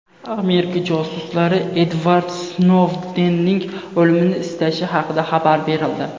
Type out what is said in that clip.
Amerika josuslari Edvard Snoudenning o‘limini istashi haqida xabar berildi.